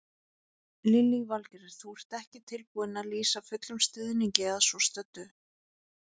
Lillý Valgerður: Þú ert ekki tilbúinn að lýsa fullum stuðningi að svo stöddu?